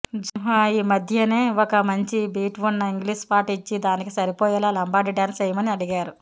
జః ఈ మధ్యనే ఒక మంచి బీట్ ఉన్న ఇంగ్లీషుపాట ఇచ్చి దానికి సరిపోయేలా లంబాడి డాన్స్ చేయమని అడిగారు